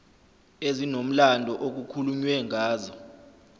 ezinomlando okukhulunywe ngazo